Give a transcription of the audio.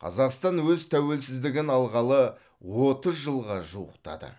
қазақстан өз тәуелсіздігін алғалы отыз жылға жуықтады